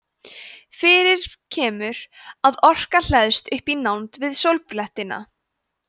fyrir kemur að orka hleðst upp í nánd við sólblettina